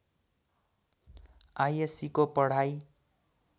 आईएस्सीको पढाइ